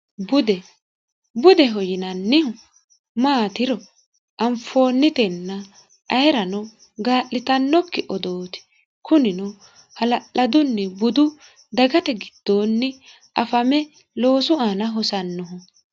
bude budeho yinannihu maatiro anfoonnitenna ayirano gaa'litannokki odooti kunino hala'ladunni budu dagate giddoonni afame loosu aana hosannoho